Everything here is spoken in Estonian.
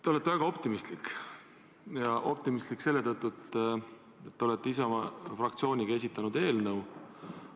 Te olete väga optimistlik, ja optimistlik selle tõttu, et te olete oma fraktsiooniga esitanud eelnõu.